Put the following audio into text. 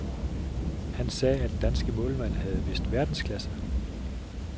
Han sagde, at den danske målmand havde vist verdensklasse.